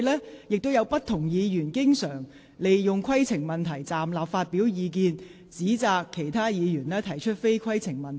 過往亦有不同議員經常利用提出規程問題，站立發表意見，或指責其他議員提出非規程問題。